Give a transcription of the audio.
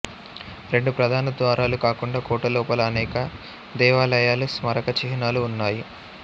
రెండు ప్రధాన ద్వారాలు కాకుండా కోట లోపల అనేక దేవాలయాలు స్మారక చిహ్నాలు ఉన్నాయి